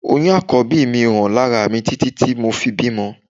Oyún Àkọ́bí mi ò hàn lára mi títí tí mo fi bímọ